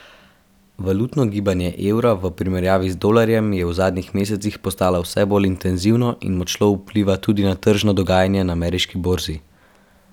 Valutno gibanje evra v primerjavi z dolarjem je v zadnjih mesecih postalo vse bolj intenzivno in močno vpliva tudi na tržno dogajanje na ameriški borzi.